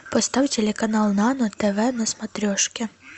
поставь телеканал нано тв на смотрешке